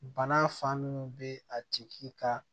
Bana fan minnu bɛ a tigi ka